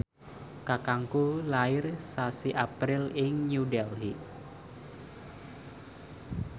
kakangku lair sasi April ing New Delhi